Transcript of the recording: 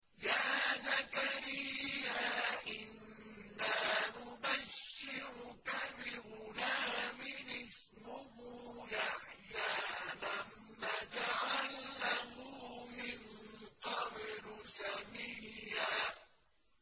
يَا زَكَرِيَّا إِنَّا نُبَشِّرُكَ بِغُلَامٍ اسْمُهُ يَحْيَىٰ لَمْ نَجْعَل لَّهُ مِن قَبْلُ سَمِيًّا